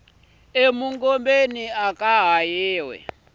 e mungomeni aka ha yiwi